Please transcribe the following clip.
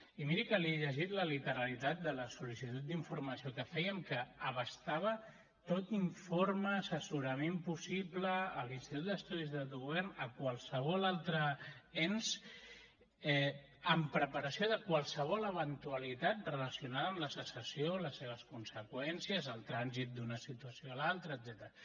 i miri que li he llegit la literalitat de la sol·licitud d’informació que fèiem que abastava tot informe assessorament possible a l’institut d’estudis d’autogovern a qualsevol altre ens amb preparació de qualsevol eventualitat relacionada amb la secessió les seves conseqüències el transit d’una situació a l’altre etcètera